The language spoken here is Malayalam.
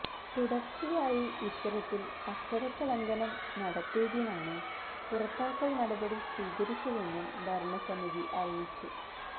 തുടര്ച്ചയായി ഇത്തരത്തില് അച്ചടക്കലംഘനം നടത്തിയതിനാണ് പുറത്താക്കല് നടപടി സ്വീകരിച്ചതെന്നും ഭരണസമിതി അറിയിച്ചു